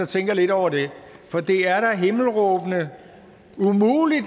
tænke lidt over det for det er da himmelråbende umuligt at